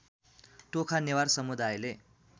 Tokha Newar सामुदायले